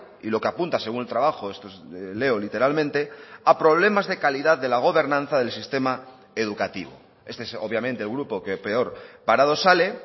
y lo que apunta según el trabajo esto leo literalmente a problemas de calidad de la gobernanza del sistema educativo este es obviamente el grupo que peor parado sale